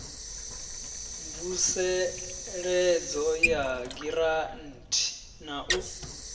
mvuseledzo ya giranthi na u